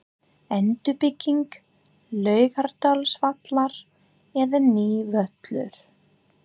Endurbygging Laugardalsvallar eða nýr völlur?